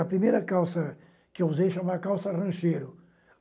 A primeira calça que eu usei chamava calça rancheiro.